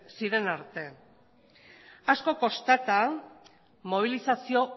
ziren arte asko kostata mobilizazio